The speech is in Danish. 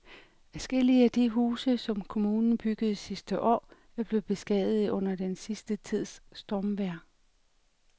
Adskillige af de huse, som kommunen byggede sidste år, er blevet beskadiget under den sidste tids stormvejr.